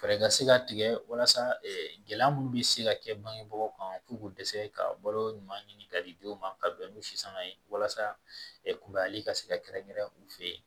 Fɛɛrɛ ka se ka tigɛ walasa gɛlɛya minnu bɛ se ka kɛ bangebaaw kan f'u k'u dɛsɛ ka balo ɲuman ɲini ka di dɔw ma ka bɛn ni si sanga ye walasa kubayali ka se ka kɛrɛnkɛrɛn u fɛ yen